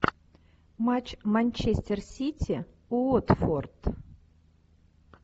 матч манчестер сити уотфорд